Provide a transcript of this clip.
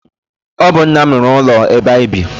Ọ bụ nna m rụrụ ụlọ ebe anyị bi.